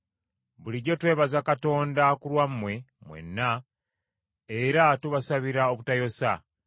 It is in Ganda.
Bulijjo twebaza Katonda ku lwammwe mwenna era tubasabira obutayosa,